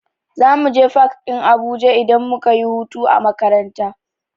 Za muje fak ɗin Abuja idan muka yi hutu a makaranta.